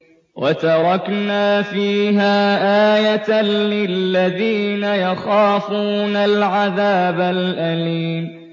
وَتَرَكْنَا فِيهَا آيَةً لِّلَّذِينَ يَخَافُونَ الْعَذَابَ الْأَلِيمَ